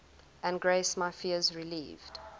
and grace my fears relieved